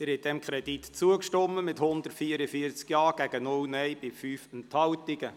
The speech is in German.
Sie haben diesem Kredit zugestimmt mit 144 Ja-, 0 Nein-Stimmen und 5 Enthaltungen.